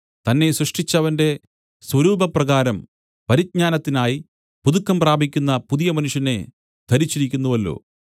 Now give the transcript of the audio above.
തന്നെ സൃഷ്ടിച്ചവന്റെ സ്വരൂപപ്രകാരം പരിജ്ഞാനത്തിനായി പുതുക്കം പ്രാപിക്കുന്ന പുതിയ മനുഷ്യനെ ധരിച്ചിരിക്കുന്നുവല്ലോ